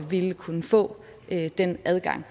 ville kunne få den adgang